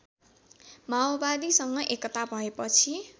माओवादीसँग एकता भएपछि